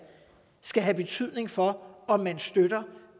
skal have betydning for om man støtter